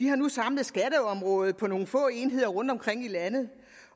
har nu samlet skatteområdet på nogle få enheder rundtomkring i landet